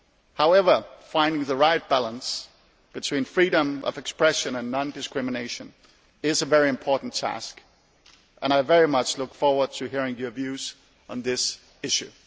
However, finding the right balance between freedom of expression and non discrimination is a very important task and I very much look forward to hearing your views on this issue.